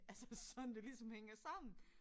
Altså sådan det ligesom hænger sammen